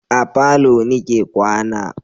A falo ni ke kwana